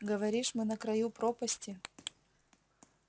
говоришь мы на краю пропасти